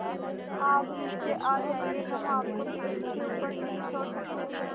आप नीचे आ जाइये हम आपको पेड़ के ऊपर नहीं छोड़ सकते